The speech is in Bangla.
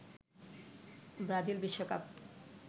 ব্রাজিল বিশ্বকাপ